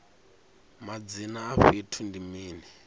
madzina a fhethu ndi mini